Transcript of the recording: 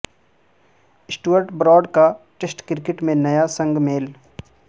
Sturt Broad کا test cricket میں نیا سنگ میل